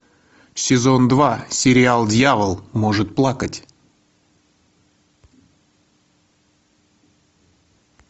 сезон два сериал дьявол может плакать